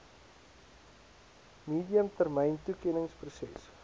medium termyn toekenningsproses